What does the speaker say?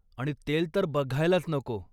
आणि तेल तर बघायलाच नको!